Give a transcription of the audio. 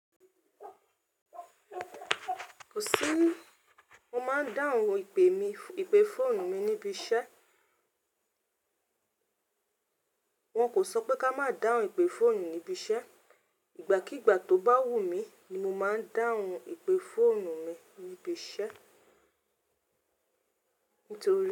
Kò sí ní mo máa ń dáhùn ìpè mi ipe fọ́ọ̀nù mi níbi iṣẹ́. Wọn kò sọ pé ká má dáhùn ìpè fọ́ọ̀nù níbi iṣẹ́. Ìgbà kígbà tó bá wù mí ni mo máa ń dáhùn ìpè fọ́ọ̀nù mi níbi iṣẹ́